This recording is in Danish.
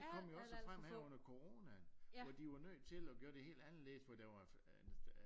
Og det kom jo også frem her under corana hvor de var nødt til at gøre det helt anderledes